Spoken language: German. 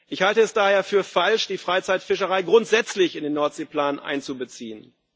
Ich halte es daher für falsch, die Freizeitfischerei grundsätzlich in den Nordseeplan einzubeziehen.